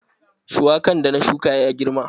Shuwakan da na shuka ya girma.